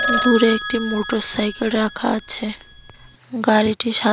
দূরে একটি মোটরসাইকেল রাখা আছে গাড়িটি সা--